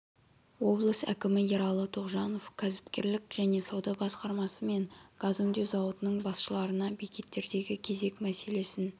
облыс әкімі ералы тоғжанов кәсіпкерлік және сауда басқармасы мен газ өңдеу зауытының басшыларына бекеттердегі кезек мәселесін